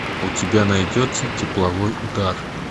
у тебя найдется тепловой удар